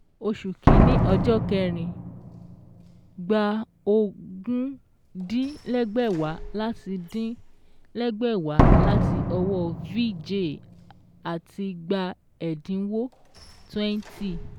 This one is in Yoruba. Oṣù kìíní ọjọ́ kẹrin: Gbà ogún dín lẹ́gbẹ̀wá láti dín lẹ́gbẹ̀wá láti ọwọ́ Vijay àti gbà ẹ̀dínwó twenty